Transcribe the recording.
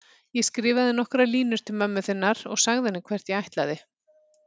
Ég skrifaði nokkrar línur til mömmu þinnar og sagði henni hvert ég ætlaði.